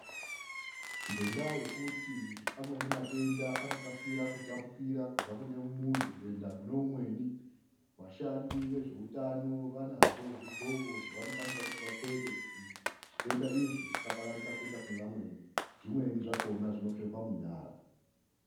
Ngendaa yekuti amweni matenda anokasira kutapukira kubva kune muntu kuenda kune umweni. Vashandi vezvoutano vanazvo zvidhloko zvavanoshandisa kuti zvitenda izvi zvisapararira kuenda kune vamweni. Zvimweni zvakona zvinopfekwa munyara.